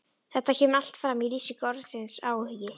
Þetta kemur allt fram í lýsingu orðsins áhugi: